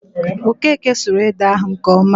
Okeke suru ede ahụ nke ọma